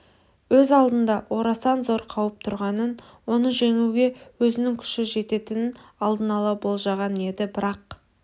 өз алдында орасан зор қауіп тұрғанын оны жеңуге өзінің күші жететінін алдын ала болжаған еді бірақ